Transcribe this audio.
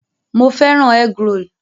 Mo fẹ́ràn egg-roll